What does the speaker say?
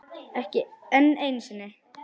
Enn einu sinni.